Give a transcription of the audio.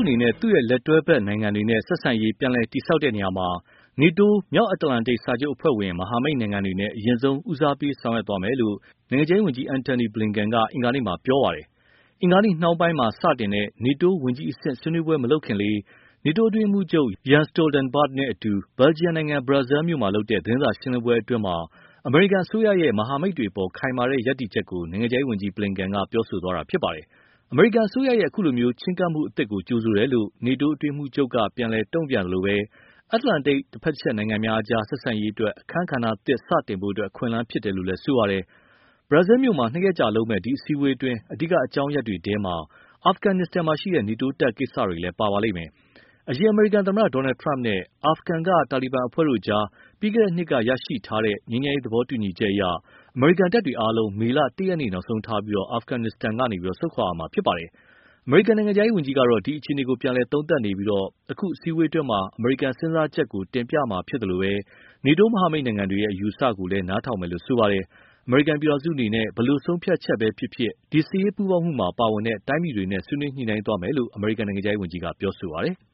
အနေနဲ့ သူ့လက်တွဲဘက်နိုင်ငံတွေနဲ့ ဆက်ဆံရေးပြန်လည်တည်ဆောက်တဲ့နေရာမှာ NATO မြောက်အတ္တလန်တိတ်စာချုပ်အဖွဲ့ဝင်မဟာမိတ်နိုင်ငံတွေနဲ့ အရင်ဆုံး ဦးစားပေးဆောင်ရွက်သွားမယ်လို့ နိုင်ငံခြားရေးဝန်ကြီး Antony Blinken က အင်္ဂါနေ့မှာ ပြောဆိုပါတယ်။ အင်္ဂါနေ့ နှောင်းပိုင်းမှာစတင်တဲ့ NATO ဝန်ကြီးအဆင့် ဆွေးနွေးပွဲမလုပ်ခင်လေး၊ NATO အတွင်းရေးမှုးချုပ် Jens Stoltenberg နဲ့ အတူ ဘယ်ဂျီယံနိုင်ငံ Brussels မြို့မှာ လုပ်တဲ့ သတင်းစာရှင်းလင်းပွဲအတွင်း အမေရိကန်အစိုးရဲ့ မဟာမိတ်တွေအပေါ် ခိုင်မာတဲ့ရပ်တည်ချက်ကို နိုင်ငံခြားရေးဝန်ကြီး Blinken က ပြောသွားတာဖြစ်ပါတယ်။ အမေရိကန်အစိုးရဲ့ အခုလို ချည်းကပ်မှုသစ်ကို ကြိုဆိုတယ်လို့ NATO အတွင်းရေးမှူးချုပ်က တုံ့ပြန်သလို၊ အတ္တလန်တိတ်တဘက်တချက်နိုင်ငံများအကြား ဆက်ဆံရေးအတွက် အခန်းကဏ္ဍသစ်စတင်ဖို့ အခွင့်အလမ်းဖြစ်တယ်လို့လည်း ပြောပါတယ်။ Brussels မြို့မှာ နှစ်ရက်ကြာလုပ်မယ့် ဒီအစည်းအဝေးအတွင်း အဓိက အကြောင်းရပ်တွေထဲ အာဖဂန်မှာရှိတဲ့ NATO တပ်တွေကိစ္စလည်း ပါပါလိမ့်မယ်။ အရင်အမေရိကန်သမတ Donald Trump နဲ့ အာဖဂန်က တာလီဘန်အဖွဲ့တို့အကြား ပြီးခဲ့တဲ့နှစ်က ရခဲ့ ငြိမ်းချမ်းရေးသဘောတူညီချက်အရ အမေရိကန်တပ်တွေအားလုံး မေလ ၁ ရက်နေ့ နောက်ဆုံးထားပြီး အာဖဂန်ကနေ ဆုတ်ခွာရမှာဖြစ်ပါတယ်။ ကန်နိုင်ငံခြားရေးဝန်ကြီးကတော့ ဒီအခြေအနေကို ပြန်လည်သုံးသပ်နေပြီး အခု အစည်းအဝေးအတွင်း အမေရိကန်စဉ်းစားချက်ကို တင်ပြမှာဖြစ်သလို၊ နေတိုးမဟာမိတ်တွေရဲ့ အမြင်အယူအဆကိုလည်း နားထောင်မယ်လို့ ဆိုထားပါတယ်။ အမေရိကန် ဘယ်လို ဆုံးဖြတ်ချက်ဖြစ်ဖြစ် ဒီစစ်ရေးပူးပေါင်းမှုမှာ ပါဝင်တဲ့ တိုင်းပြည်တွေနဲ့ ဆွေးနွေးညှိနှိုင်းသွားမယ်လို့ ကန်နိုင်ငံခြားရေးဝန်ကြီးက ပြောပါတယ်။